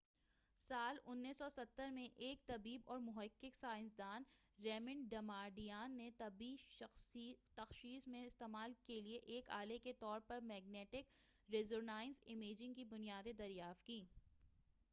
سال 1970 میں ایک طبیب اور محقق سائنسدان ریمنڈ ڈماڈیان نے طبی تشخیص میں استعمال کیلئے ایک آلے کے طور پر میگنیٹک ریزونانس امیجنگ کی بنیادیں دریافت کیں